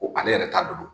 Ko ale yɛrɛ ta don